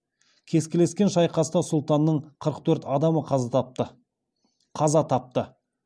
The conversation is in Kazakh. кескілескен шайқаста сұлтанның қырық төрт адамы қаза тапты